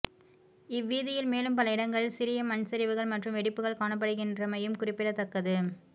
இந் வீதியில் மேலும் பல இடங்களிலும் சிறிய மண்சரிவுகள் மற்றும் வெடிப்புகள் காணப்படுகின்றமையும் குறிப்பிடத்தக்கது